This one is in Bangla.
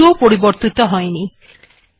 এটি একটুও পরিবর্তিত হয়নি